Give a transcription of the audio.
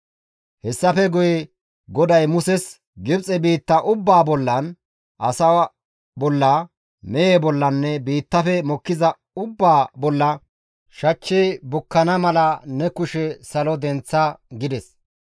Hessafe guye GODAY Muses, «Gibxe biitta ubbaa bollan, asaa bolla, mehe bollanne biittafe mokkiza ubbaa bolla shachchi bukkana mala ne kushe salo denththa» gides.